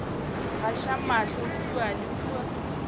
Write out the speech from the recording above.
gaša mahlo kua le kua